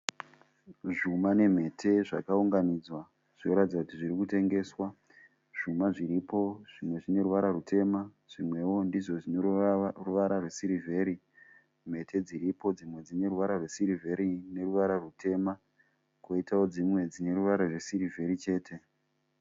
Zvuma nemhete zvakaunganidzwa zvoratidza kuti zviri kutengeswa. Zvuma zviripo zvimwe zvine ruvara rutema zvimwewo ndizvo zvine ruvara rwesirivheri . Mhete dziripo dzimwe dzine ruvara sirivheri neruvara rutema kwoitawo dzimwe dzine ruvara rwesirivheri chete.